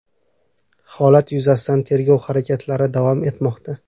Holat yuzasidan tergov harakatlari davom etmoqda.